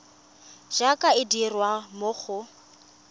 jaaka e dirwa mo go